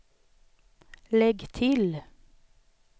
lägg till